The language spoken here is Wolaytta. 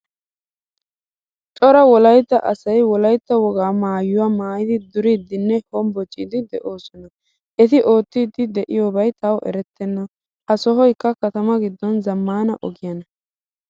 Cora wolaytta asay wolaytta wogaa maayuwaa maayidi duridinne hombboccidi deosona. Eti ootidi deiyobay tay eretena. Ha sohoykka katama giddon zamaana ogiyaana.